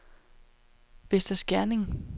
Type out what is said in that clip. Vester Skerning